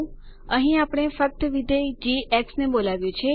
અહીં આપણે ફક્ત વિધેય જી ને બોલાવ્યું છે